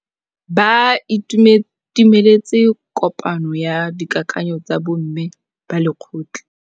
Ba itumeletse kôpanyo ya dikakanyô tsa bo mme ba lekgotla.